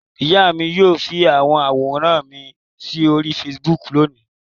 Ìyá mi yóò fi àwọn àwòrán mi sí orí Facebook lónìí.